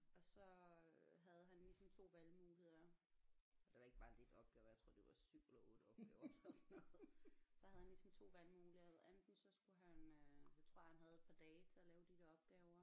Og så øh havde han ligesom 2 valgmuligheder det var ikke bare lidt opgaver jeg tror det var 7 eller 8 opgaver eller sådan noget så havde han ligesom 2 valgmuligheder enten så skulle han øh så tror jeg han havde et par dage til at lave de der opgaver